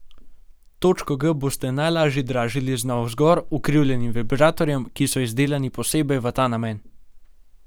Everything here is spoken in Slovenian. Točko G boste lažje dražili z navzgor ukrivljenim vibratorjem, ki so izdelani posebej v ta namen.